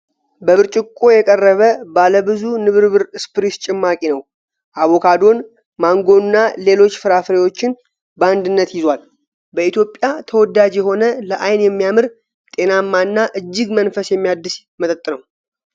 በብርጭቆ የቀረበ ባለብዙ ንብርብር ስፕሪስ ጭማቂ ነው። አቮካዶን፣ ማንጎና ሌሎች ፍራፍሬዎችን በአንድነት ይዟል። በኢትዮጵያ ተወዳጅ የሆነ፣ ለዓይን የሚያምር፣ ጤናማና እጅግ መንፈስ የሚያድስ መጠጥ ነው።